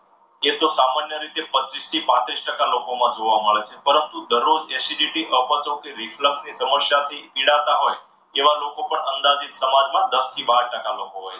એ તો સામાન્ય રીતે પચ્ચીસથી પાત્રીસ ટકા લોકોમાં જોવા મળે છે. પરંતુ દરરોજ acidity, અપચો કે reflect ની સમસ્યાથી પીડાતા હોય. એવા લોકો પણ અંદાજિત પ્રમાણમાં દસથી બાર ટકા લોકો